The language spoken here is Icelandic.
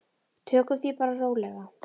Tökum því bara rólega.